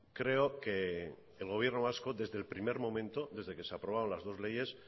creo que el gobierno vasco desde el primero momento desde que se aprobaron las dos leyes